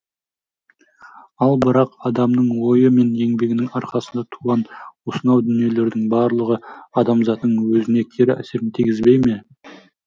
ал бірақ адамның ойы мен еңбегінің арқасында туған осынау дүниелердің барлығы адамзаттың өзіне кері әсерін тигізбей ме